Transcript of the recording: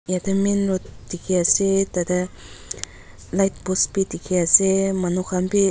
yatae main road dikhiase tatae light post bi dikhiase manu khan bi --